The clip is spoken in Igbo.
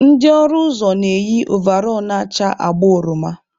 Ndị ọrụ ụzọ na-eyi ovall na-acha agba oroma.